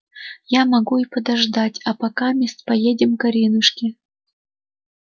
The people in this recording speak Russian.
я могу и подождать а покамест поедем к аринушке